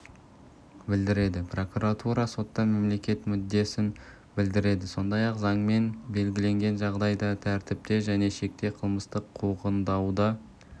білдіреді прокуратура сотта мемлекет мүддесін білдіреді сондай-ақ заңмен белгіленген жағдайда тәртіпте және шекте қылмыстық қуғындауды